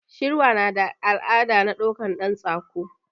Shirwa nada al'ada na ɗaukan ɗan tsako